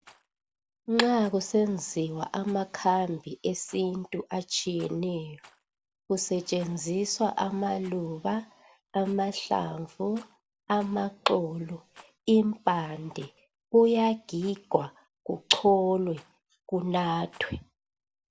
Nxa kusenziswa amakhambi esintu atshiyeneyo kusetshenziswa amaluba, amahlamvu, amaxolo, impande kuyagigwa kucholwe kunathwe.